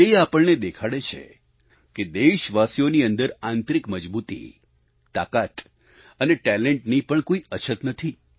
તે આપણને દેખાડે છે કે દેશવાસીઓની અંદર આંતરિક મજબૂતી તાકાત અને ટેલેન્ટની પણ કોઈ અછત નથી